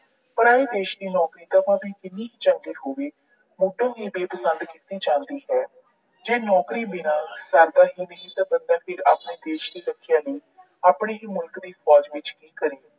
ਪਰਾਏ ਇਸ਼ਕ ਦੀ ਨੌਕਰੀ ਭਾਵੇਂ ਜਿੰਨੀ ਮਰਜੀ ਚੰਗੀ ਹੋਵੇ, ਮੁੱਢੋਂ ਹੀ ਬੇਪਸੰਦ ਕੀਤੀ ਜਾਂਦੀ ਹੈ। ਜੇ ਨੌਕਰੀ ਬਿਨਾਂ ਸਰਦਾ ਹੀ ਨਹੀਂ, ਤਾਂ ਫਿਰ ਬੰਦਾ ਆਪਣੇ ਦੇਸ਼ ਦੀ ਸੁਰੱਖਿਆ ਵੀ ਆਪਣੇ ਹੀ ਮੁਲਕ ਦੀ ਫੌਜ ਵਿੱਚ ਕਰੇ।